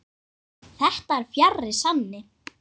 Þetta er fjarri sanni.